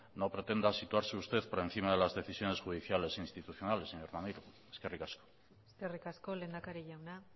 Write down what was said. no pretenda situarse usted por encima de las decisiones judiciales e institucionales señor maneiro eskerrik asko eskerrik asko lehendakari jauna